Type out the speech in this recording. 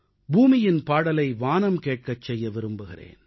பூமியின் பாடலை வானம் கேட்கச் செய்ய விரும்புகிறேன்